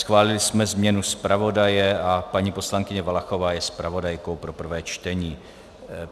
Schválili jsme změnu zpravodaje a paní poslankyně Valachová je zpravodajkou pro prvé čtení.